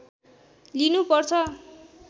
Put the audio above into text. लिनु पर्छ